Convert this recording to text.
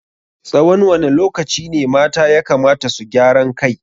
Tsawan wane lokaci ne mata yakamata su gyaran kai?